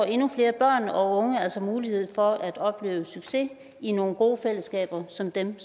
endnu flere børn og altså mulighed for at opleve succes i nogle gode fællesskaber som dem